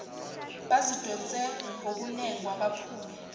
bazidonse ngokunengwa baphume